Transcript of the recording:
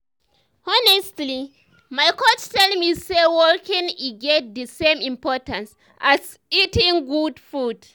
honestly my coach tell me say walking e get the same importance as eating good food.